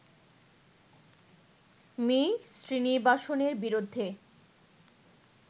me শ্রীনিবাসনের বিরুদ্ধে